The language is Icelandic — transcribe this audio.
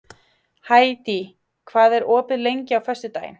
Hædý, hvað er opið lengi á föstudaginn?